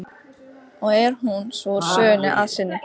Honum þótti skyr gott, mjög gott.